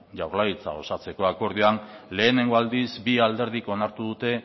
jaurlaritza osatzeko akordioan lehenengo aldiz bi alderdik onartu dute